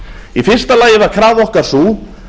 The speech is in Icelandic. í fyrsta lagi var krafa okkar sú